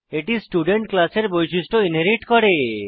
এটি স্টুডেন্ট ক্লাসের বৈশিষ্ট্য ইনহেরিট করে